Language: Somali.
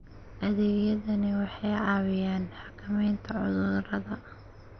Adeegyadani waxay caawiyaan xakamaynta cudurrada.